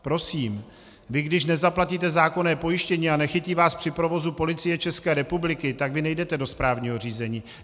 Prosím, vy když nezaplatíte zákonné pojištění a nechytí vás při provozu Policie České republiky, tak vy nejdete do správního řízení.